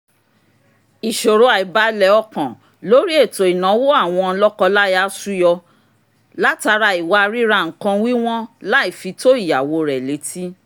ìṣòro àìbalẹ̀ ọkan lórí ètò ìnáwó àwọn lọ́kọláya ṣúyọ látara ìwà ríra nǹkan wíwọ́n láìfi tó ìyàwó rẹ̀ létí